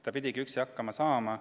Ta pidigi üksi hakkama saama.